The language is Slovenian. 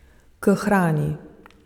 K hrani.